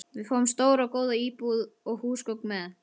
Við fáum stóra og góða íbúð og húsgögn með.